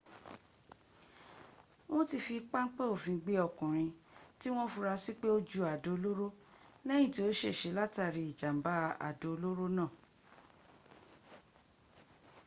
wọ́n ti fi páńpẹ́ òfin gbé ọkùnrin tí wọ́n fura sí pé o ju àdó olóró lẹ́yìn tí ó ṣèse látàrí ìjàmbá àdó olóró náà